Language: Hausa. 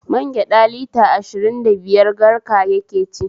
Magyaɗa lita ashirn da biyar garka yake ci